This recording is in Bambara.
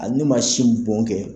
Ale ma sin bɔn kɛ.